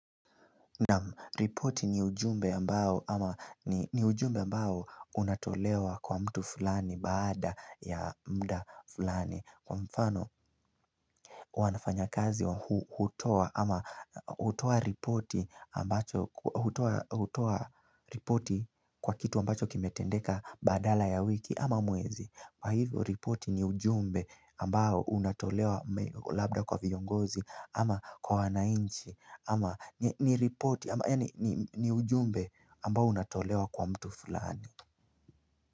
Naam ripoti ni ujumbe ambao ama ni ujumbe ambao unatolewa kwa mtu fulani baada ya mda fulani Kwa mfano wanafanyakazi wa huu hutoa ama hutoa ripoti kwa kitu ambacho kimetendeka badala ya wiki ama mwezi Kwa hivyo ripoti ni ujumbe ambao unatolewa labda kwa viongozi ama kwa wananchi ama ni ripoti ama ya ni ujumbe ambao unatolewa kwa mtu fulani.